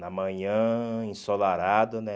Na manhã, ensolarado, né?